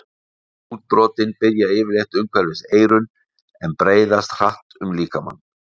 Útbrotin byrja yfirleitt umhverfis eyrun en breiðast hratt um líkamann.